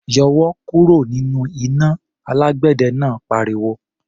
"Yọwọ́ kúrò nínú iná!" Alágbẹ̀dẹ náà pariwo.